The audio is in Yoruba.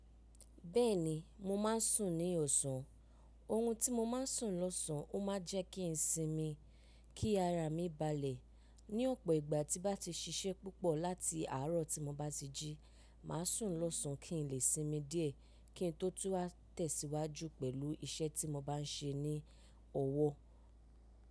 Bẹ́ẹ̀ni, mo máa ń sùn ní ọ̀sán. Oórun tí mo máa ń sùn lọ́sán ó máa ń jẹ́ kí n sinmi, kí ara mi balẹ̀. Ni ọ̀pọ̀ ìgbà tí bá ti ṣiṣẹ́ púpọ̀ láti àárọ̀ tí mo bá ti jí, màá sùn lọ́sán kí n lè sinmi díẹ̀ kí n tó tún wá tẹ̀síwájú pẹ̀lú iṣẹ́ tí mo bá ń ṣe ní ọwọ́.